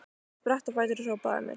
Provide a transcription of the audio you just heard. Hún spratt á fætur og hrópaði að mér